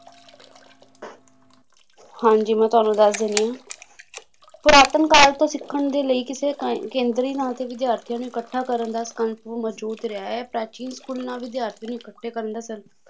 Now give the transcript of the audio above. ਹਾਂਜੀ ਮੈਂ ਤੁਹਾਨੂੰ ਦੱਸ ਦੇਣੀ ਆ ਪੁਰਾਤਨ ਕਾਲ ਤੋਂ ਸਿੱਖਣ ਦੇ ਲਈ ਕਿਸੇ ਥਾਈਂ ਕੇਂਦਰੀ ਨਾ ਤੇ ਵਿਦਿਆਰਥੀਆਂ ਨੂੰ ਇਕੱਠਾ ਕਰਨ ਦਾ ਸਕੰਪ ਮੌਜੂਦ ਰਿਹਾ ਹੈ ਪ੍ਰਾਚੀਨ ਸਕੂਲਾਂ ਵਿਦਿਆਰਥੀ ਨੂੰ ਇਕੱਠੇ ਕਰਨ ਦਾ